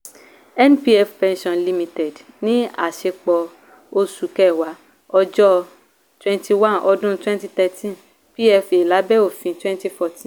npf pensions limited ni a ṣe pọ̀ oṣù kẹwàá ọjọ́ 21 ọdún 2013 pfa lábẹ́ ọfin 2014.